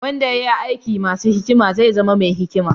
Wanda ya yi aiki masu hikima zai zama mai hikima.